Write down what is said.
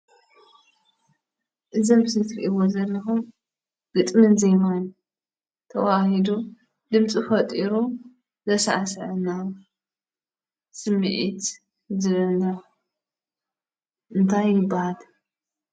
እዚ ኣብ ምስሊ እትሪእዎ ዘለኩም ግጥምን ዜማን ተወሃሂዱ ድምፂ ፈጢሩ ዘሳዕስዐና ስሚዒት ዝህበና እንታይ ይበሃል?